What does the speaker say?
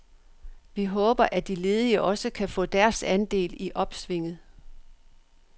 Vi håber, at de ledige også kan få deres andel i opsvinget.